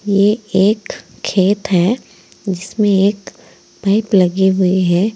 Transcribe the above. ये एक खेत है जिसमें एक पाइप लगी हुई है।